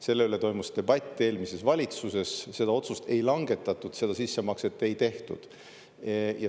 Selle üle toimus debatt eelmises valitsuses, seda otsust ei langetatud, seda sissemakset ei tehtud.